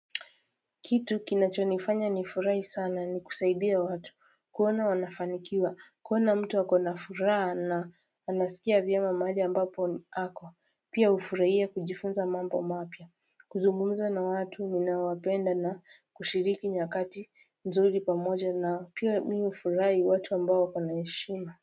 Kitu kinachonifanya ni furahi sana ni kusaidia watu kuona wanafanikiwa kuona mtu ako na furaha na anasikia vyema mahali ambapo ako pia hufurahia kujifunza mambo mapya kuzungumza na watu unao wapenda na kushiriki nyakati nzuri pamoja na pia mimi hufurahi watu ambao wako na heshima.